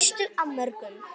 Þá fyrstu af mörgum.